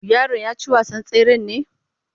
Yaron ya ci wasan tseren ne?